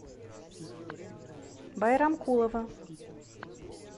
байрамкулова